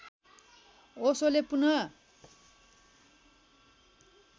ओशोले पुनः